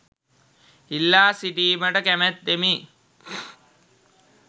ඉල්ලා සිටීමට කැමැත්තමි